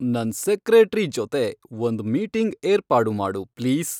ನನ್ ಸೆಕ್ರೇಟ್ರಿ ಜೊತೆ ಒಂದ್ ಮೀಟಿಂಗ್ ಏರ್ಪಾಡು ಮಾಡು ಪ್ಲೀಸ್